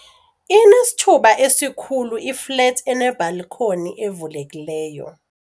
Inesithuba esikhulu iflethi enebhalikhoni evulekileyo.